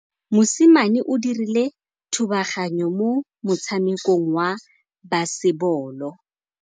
Mosimane o dirile thubaganyô mo motshamekong wa basebôlô.